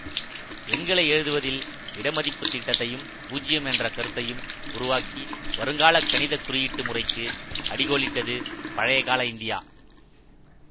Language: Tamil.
எண்களை எழுதுவதில் இடமதிப்புத் திட்டத்தையும் பூஜ்ஜியம் என்ற கருத்தையும் உருவாக்கி வருங்காலக் கணிதக்குறியீட்டுமுறைக்கு அடிகோலிட்டது பழையகால இந்தியா